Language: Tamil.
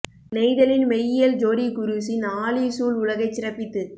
நெய்தலின் மெய்யியல் ஜோ டி குரூஸின் ஆழி சூழ் உலகைச் சிறப்பித்து